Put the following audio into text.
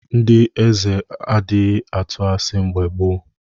Ndị Nze adịghị atụ asị mgbe gboo.